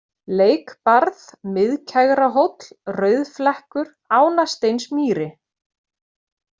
Leikbarð, Miðkegrahóll, Rauðflekkur, Ánasteinsmýri